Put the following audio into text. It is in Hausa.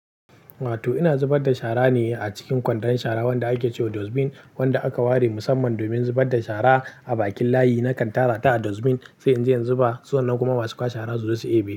Wato ina zubar da shara ne a cikin kwandon shara wanda ake cewa dustbin wanda aka ware musamman domin zubar da shara a bakin layi. Nakan tara ta a dustbin sai in je in zuba, su wannan kuma ma su kwashe shara su zo su debe.